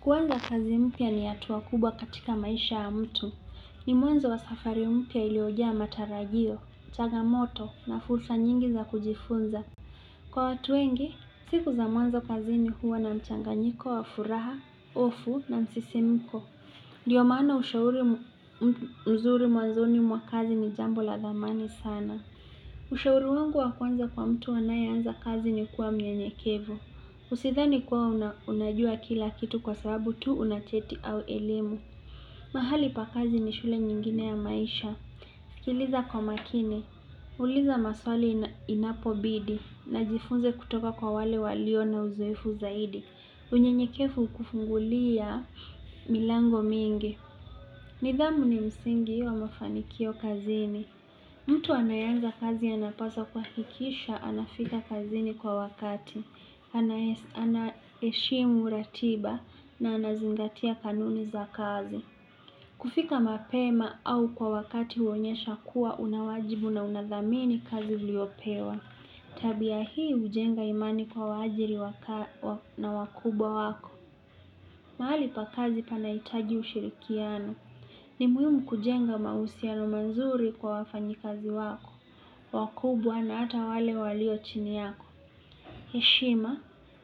Kuanza kazi mpya ni hatua kubwa katika maisha ya mtu. Ni mwanzo wa safari mpya iliyojaa matarajio, changamoto na fursa nyingi za kujifunza. Kwa watu wengi, siku za mwanzo kazini huwa na mchanganyiko wa furaha, hofu na msisimuko. Ndiyo maana ushauri mzuri mwanzoni mwa kazi ni jambo la dhamani sana. Ushauri wangu wa kwanza kwa mtu anayeanza kazi ni kuwa mnyenyekevu. Usithani kuwa unajua kila kitu kwa sababu tu una cheti au elimu. Mahali pa kazi ni shule nyingine ya maisha. Sikiliza kwa makini, uliza maswali inapobidi, na jifunze kutoka kwa wale walio na uzoefu zaidi. Unyenyekevu hukufungulia milango mingi. Nidhamu ni msingi wa mafanikio kazini. Mtu anayeanza kazi anapaswa kuhakikisha anafika kazini kwa wakati. Anaheshimu ratiba na anazingatia kanuni za kazi. Kufika mapema au kwa wakati huonyesha kuwa una wajibu na unadhamini kazi iliyopewa. Tabia hii hujenga imani kwa waajiri na wakubwa wako. Mahali pa kazi panahitaji ushirikiano. Ni muhimu kujenga mahusiano mazuri kwa wafanyikazi wako. Wakubwa na ata wale walio chini yako. Heshima,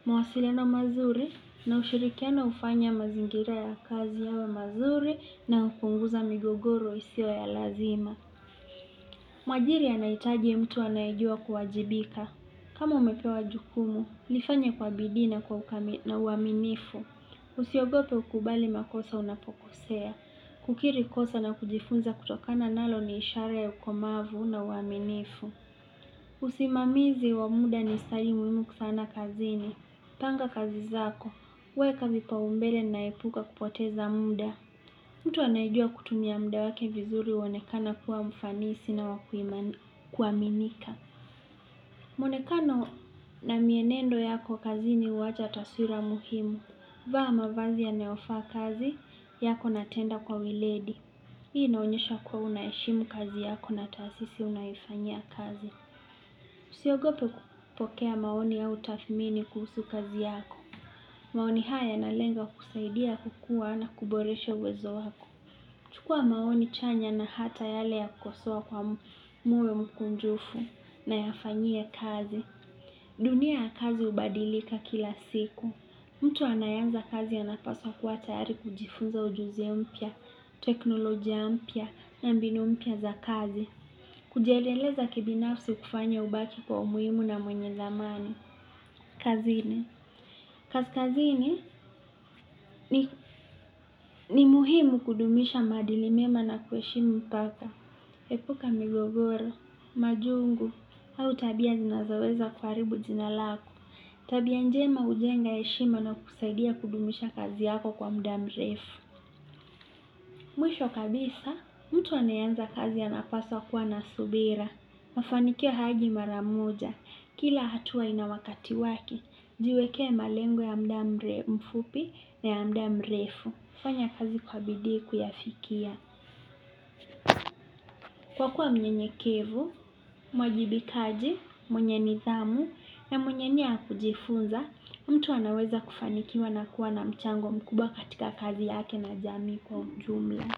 mawasiliano mazuri na ushirikiano hufanya mazingira ya kazi yawe mazuri na hupunguza migogoro isio ya lazima. Mwajiri anahitaji mtu anayejua kuwajibika. Kama umepewa jukumu, lifanye kwa bidii na uaminifu. Usiogope ukubali makosa unapokosea. Kukiri kosa na kujifunza kutokana nalo ni ishara ya ukomavu na uaminifu. Usimamizi wa muda ni stadi muhimu sana kazini. Panga kazi zako, weka vipaumbele na epuka kupoteza muda. Mtu anayejua kutumia muda wake vizuri huonekana kuwa mfanisi na wa kuaminika. Mwonekano na mienendo yako kazini huwacha taswira muhimu. Vaa mavazi yanayofaa kazi, yako na tenda kwa weledi. Hii inaonyesha kuwa unaheshimu kazi yako na taasisi unayoifanyia kazi. Usiogope kupokea maoni au tathmini kuhusu kazi yako. Maoni haya nalenga kukusaidia kukua na kuboresha uwezo wako. Chukua maoni chanya na hata yale ya kukosoa kwa moyo mkunjufu na yafanyie kazi. Dunia ya kazi hubadilika kila siku. Mtu anayeanza kazi anapaswa kuwa tayari kujifunza ujuzi mpya, teknolojia mpya na mbinu mpya za kazi. Kujiendeleza kibinafsi hukufanya ubaki kwa umuhimu na mwenye dhamani. Kazini. Kazi kazini ni muhimu kudumisha maadili mema na kuheshimu mipaka, epuka migogoro, majungu, au tabia zinazoweza kuharibu jina lako. Tabia njema hujenga heshima na kukusaidia kudumisha kazi yako kwa muda mrefu. Mwisho kabisa, mtu anayeanza kazi anapaswa kuwa na subira. Mafanikio hayaji mara moja. Kila hatua ina wakati wake. Jiwekee malengo ya muda mfupi na ya muda mrefu. Fanya kazi kwa bidii kuyafikia. Kwa kuwa mnyenyekevu, mwajibikaji, mwenye nidhamu, na mwenye nia ya kujifunza, mtu anaweza kufanikiwa na kuwa na mchango mkubwa katika kazi yake na jamii kwa ujumla.